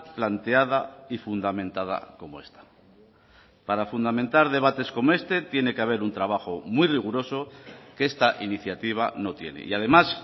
planteada y fundamentada como esta para fundamentar debates como este tiene que haber un trabajo muy riguroso que esta iniciativa no tiene y además